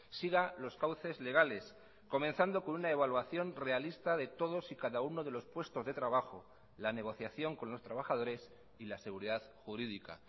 siga los cauces legales comenzando con una evaluación realista de todos y cada uno de los puestos de trabajo la negociación con los trabajadores y la seguridad jurídica